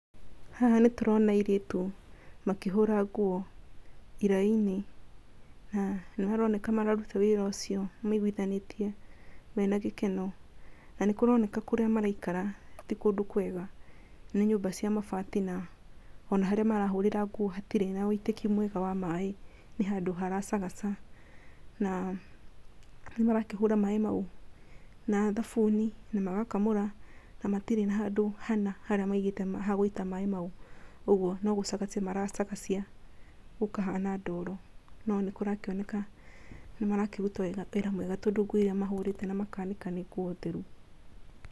Haha nĩ tũrona airĩtu makĩhũra nguo iraĩ-inĩ, na nĩmaroneka mararuta wĩra ũcio maiguithanĩtie, mena gĩkeno na nĩ maroneka kũrĩa maraikara ti kũndũ kwega, nĩ nyũmba cia mabati, na ona harĩa marahũrĩra nguo hatirĩ na ũitĩki mwega wa maĩ nĩ handũ haracagaca, na nĩ marakĩhũra maĩ mau na thabuni na magakamũra na matirĩ na handũ hana harĩa maigĩte ha gũita maĩ mau, ũguo no gũcagacia maracagacia gũkahana ndoro, no nĩ kũrakĩoneka nĩ marakĩruta wĩra mwega, tondũ nguo iria mahũrĩte na makanĩka nĩ nguo theru.